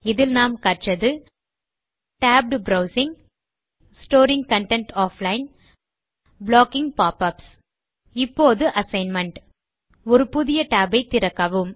இதில் நாம் கற்றது tabbed browsing storing content offline blocking pop ups இப்போது அசைன்மென்ட் ஒரு புதிய tab ஐ திறக்கவும்